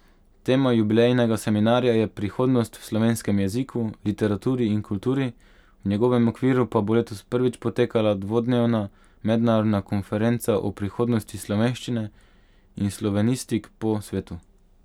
Tema jubilejnega seminarja je Prihodnost v slovenskem jeziku, literaturi in kulturi, v njegovem okviru pa bo letos prvič potekala dvodnevna mednarodna konferenca o prihodnosti slovenščine in slovenistik po svetu.